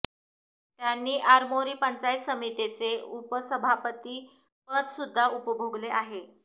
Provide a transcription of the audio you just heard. त्यांनी आरमोरी पंचायत समितीचे उपसभापती पद सुद्धा उपभोगले आहे